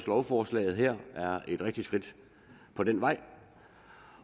lovforslaget her er et rigtigt skridt på den vej